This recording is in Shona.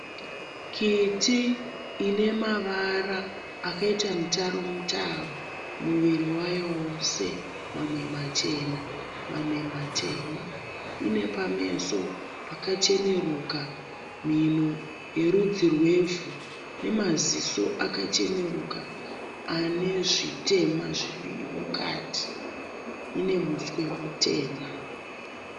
Kiti ine mavara akaita mutaro mutaro muviri wayo wose mamwe machena mamwe matema, ine pameso pakacheneruka mhino yerudzi rwevhu nemaziso akacheneruka ane zvitema zviri mukati ine muswe mutema.